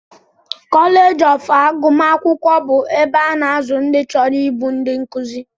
Koleej of agụmakwụkwọ bụ ebe a na-azụ ndị chọrọ ịbụ ndị nkụzi.